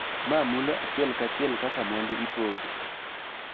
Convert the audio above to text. Ma mulo achiel kachiel kaka mwandu ipogo